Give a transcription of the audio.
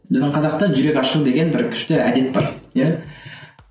біздің қазақта жүрек ашу деген бір күшті әдет бар иә